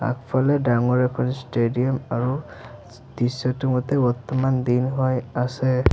ইফালে ডাঙৰ এখন ষ্টেডিয়াম আৰু দৃশ্যটোৰ মতে বৰ্তমান দিন হৈ আছে।